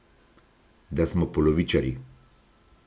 Da smo polovičarji!